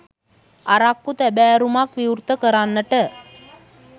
අරක්කු තැබෑරුමක් විවෘත කරන්නට